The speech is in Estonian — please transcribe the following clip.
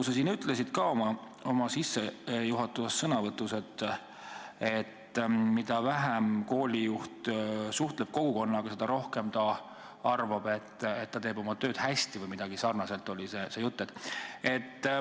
Sa siin ütlesid ka oma sissejuhatavas sõnavõtus, et mida vähem koolijuht suhtleb kogukonnaga, seda rohkem ta arvab, et ta teeb oma tööd hästi, või midagi sarnast oli see jutt.